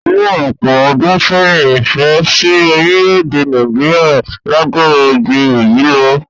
Ní ọ̀pọ̀ ọdún sẹ́yìn, ìfẹ́ si orílẹ̀-èdè Nàìjíríà lágbára ju eyi lo